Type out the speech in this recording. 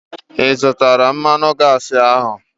Ị zụtara mmanụ gaasi ahu?